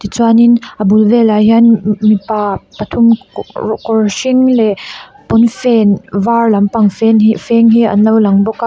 tichuanin a bul velah hianin m-m-m mipa pathum kawr hring leh pawnfen var lampang fen hi feng hi an lo lang bawk a.